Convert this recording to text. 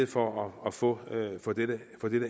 for at få dette